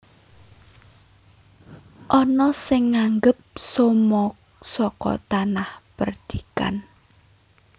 Ana sing nganggep somo saka tanah perdikan